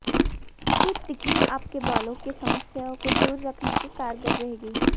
ये तिकड़ी आपके बालों की समस्याओं को दूर रखने में कारगर रहेगी